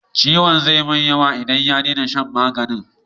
Ciwon zai mai yawa in ya dena shan magani